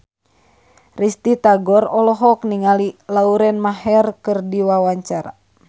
Risty Tagor olohok ningali Lauren Maher keur diwawancara